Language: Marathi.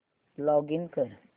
लॉगिन कर